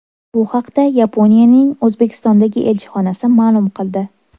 Bu haqda Yaponiyaning O‘zbekistondagi elchixonasi ma’lum qildi .